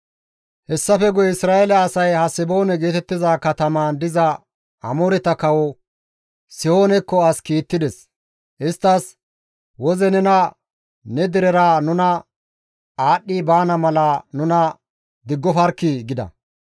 «Hessafe guye Isra7eele asay Haseboone geetettiza katamaan diza Amooreta kawo Sihoonekko as kiittides; isttas, ‹Woze nena ne derera nu aadhdhi baana mala nuna diggofarkkii!› gida.